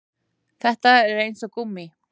Þetta er eins og gúmmí